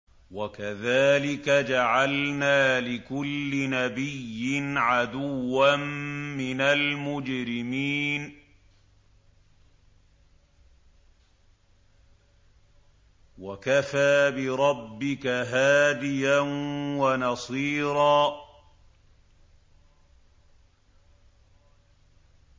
وَكَذَٰلِكَ جَعَلْنَا لِكُلِّ نَبِيٍّ عَدُوًّا مِّنَ الْمُجْرِمِينَ ۗ وَكَفَىٰ بِرَبِّكَ هَادِيًا وَنَصِيرًا